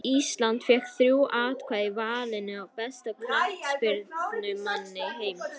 Ísland fékk þrjú atkvæði í valinu á besta knattspyrnumanni heims.